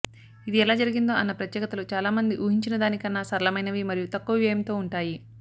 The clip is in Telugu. ఇది ఎలా జరిగిందో అన్న ప్రత్యేకతలు చాలామంది ఊహించినదానికన్నా సరళమైనవి మరియు తక్కువ వ్యయంతో ఉంటాయి